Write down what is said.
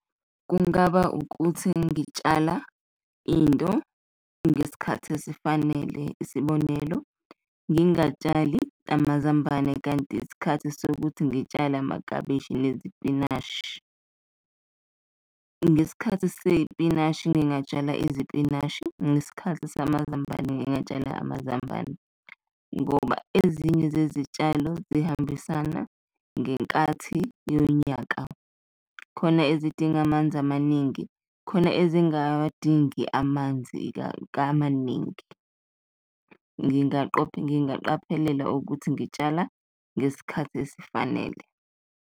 Kungaba ukuthi ngitshala into ngesikhathi esifanele, isibonelo ngingatshali amazambane kanti isikhathi sokuthi ngitshale amaklabishi nezipinashi. Ngesikhathi sey'pinashi ngingatshala izipinatshi, ngesikhathi samazambane ngingatshala amazambane ngoba ezinye zezitshalo zihambisana ngenkathi yonyaka, khona ezidinga amanzi amaningi, khona ezingawadingi amanzi amaningi. Ngingaqaphelela ukuthi ngitshala ngesikhathi esifanele.